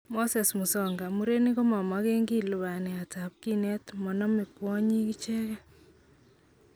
Moses Musonga:Murenik komagenki lubaniat tab kinet monome kwonyik icheken.